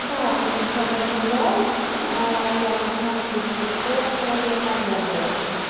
да будет свободный зал яков смотрите по условиям аренды